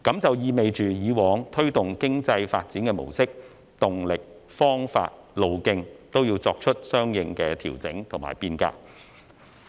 這意味以往推動經濟發展的模式、動力、方法和路徑，也要作出相應的調整和變革。